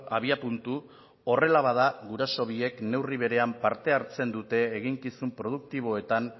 abiapuntu horrela bada guraso biek neurri berean parte hartzen dute eginkizun produktiboetan